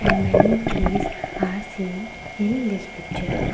and many trees are seen in this picture.